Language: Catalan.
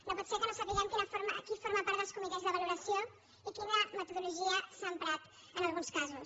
no pot ser que no sa·piguem qui forma part dels comitès de valoració i qui·na metodologia s’ha emprat en alguns casos